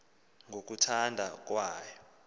ngo kuthanda kwayo